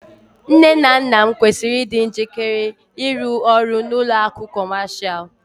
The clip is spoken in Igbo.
Nne na nna m kwesịrị ịdị njikere ịrụ ọrụ n'ụlọ akụ̀ Kọmashal